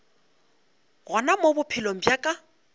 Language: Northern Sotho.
gona mo bophelong bja ka